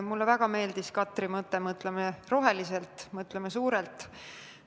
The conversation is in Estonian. Mulle väga meeldis Katri mõte: mõtleme roheliselt, mõtleme suurelt.